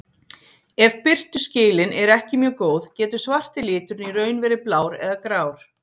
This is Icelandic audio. Ef birtuskilin eru ekki mjög góð getur svarti liturinn í raun verið blár eða grár.